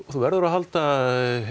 þú verður að halda